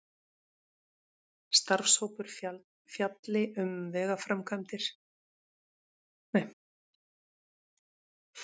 Starfshópur fjalli um vegaframkvæmdir